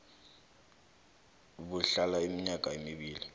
buhlala iminyaka emibili